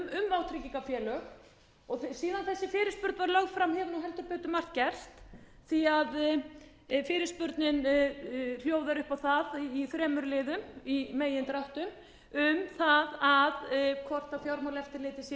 vátryggingafélög og síðan þessi fyrirspurn var lögð fram hefur heldur betur margt gerst því að fyrirspurnin hljóðar upp á það í þremur liðum í megindráttum um það hvort fjármálaeftirlitið sé